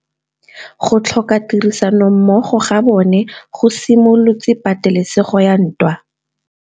Go tlhoka tirsanommogo ga bone go simolotse patêlêsêgô ya ntwa.